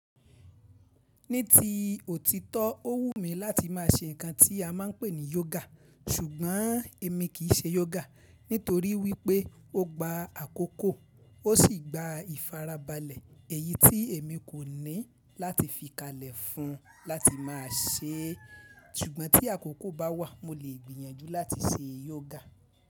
Ní ti òtítọ́, ó wùmí láti má a se nǹkan tí a máa ń pè ní yoga, ṣùgbọ́n èmi kìí ṣe yoga nítorí wípé ó gba àkókò, ó sì gba ìfarabalẹ̀ èyí tí èmi kò ní láti fi kalẹ̀ fún un láti má a ṣe é. Ṣùgbọ́n tí àkókò bá wà, mo lè gbìyànjú láti ṣe yoga.